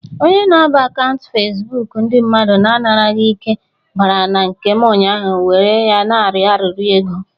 Onye n'aba n'akaụnt Fasbụk ndị mmadụ na-anaraghi ike bara na nke m ụnyaahụ were ya n'arọ arịrọ ego.